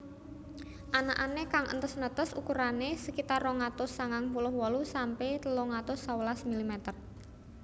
Anakané kang entes netes ukurané sekitar rong atus sangang puluh wolu sampe telung atus sewelas milimeter